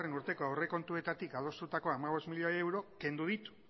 urteko aurrekontuetatik adostutako hamabost milioi euro kendu ditu